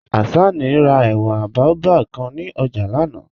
Hassana rà èwé bàòbáb kàn ní ọ̀jà lánà.